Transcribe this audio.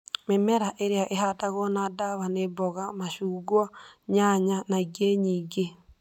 Mĩmera ĩrĩa ĩhandagwo na dawa nĩ mboga, macungwa nyanya na ĩnĩ nyĩngĩ